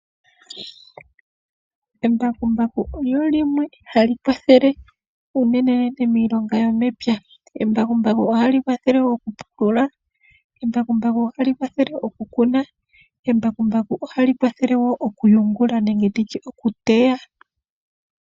Embakumbaku olyo limwe halikwathele unene iilonga yomepya, embakumbaku ohalikwathele okupulula lyo ohalikwathele okukuna, okuyungula nenge tutye okuteya.